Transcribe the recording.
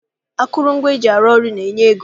Akụrụngwa eji arụ ọrụ na-enye ego